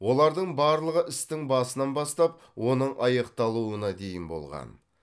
олардың барлығы істің басынан бастап оның аяқталуына дейін болған